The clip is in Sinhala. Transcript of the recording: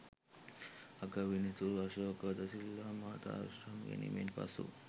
අගවිනිසුරු අශෝක ද සිල්වා මහතා විශ්‍රාම ගැනීමෙන් පසු